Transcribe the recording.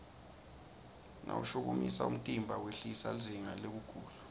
mawushukumisa umtimba wehlisa lizinga lekugula